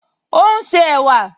Ó ún ṣe ẹ̀wà